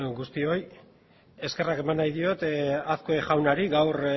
guztioi eskerrak eman nahi diot azkue jaunari gaur